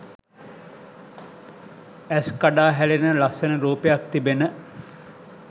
ඇස් කඩා හැලෙන ලස්සන රූපයක් තිබෙන